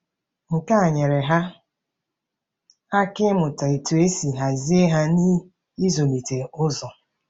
Nke a nyeere ha aka ịmụta otú e si hazie ha na ịzụlite ụzọ.